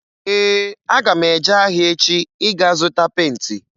Ee, aga m eje ahịa echi ịga zụta penti.